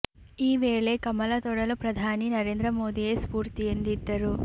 ಈ ವೇಳೆ ಕಮಲ ತೊಡಲು ಪ್ರಧಾನಿ ನರೇಂದ್ರ ಮೋದಿಯೇ ಸ್ಫೂರ್ತಿ ಎಂದಿದ್ದರು